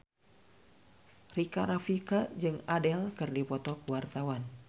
Rika Rafika jeung Adele keur dipoto ku wartawan